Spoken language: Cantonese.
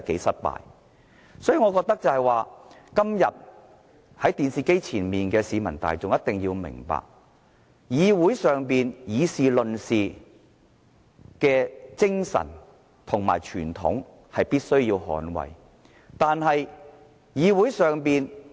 所以，我覺得今天在電視機前的市民大眾一定要明白，立法會議事論事的精神和傳統，是必須捍衞的。